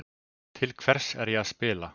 Til hvers er ég að spila?